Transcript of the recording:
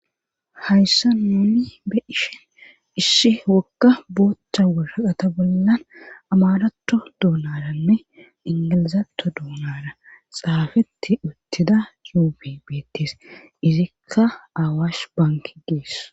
Hayssa nuuni be ishen ishshi wogga boochcha wuraqata bollan amaratto duunaranne ingilizatto duunara xaafeti uttida yupibettis izikka aawaash banki gees.